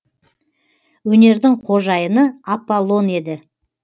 өнердің қожайыны аполлон еді